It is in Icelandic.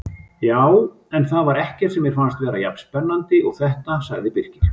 Já, en það var ekkert sem mér fannst vera jafn spennandi og þetta sagði Birkir.